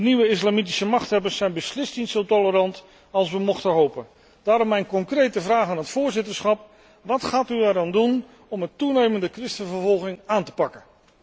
De nieuwe islamitische machthebbers zijn beslist niet zo tolerant als wij mochten hopen. Daarom mijn concrete vraag aan het voorzitterschap wat gaat u eraan doen om de toenemende christenvervolging aan te pakken?